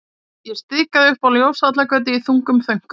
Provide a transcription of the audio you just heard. Ég stikaði upp á Ljósvallagötu í þungum þönkum.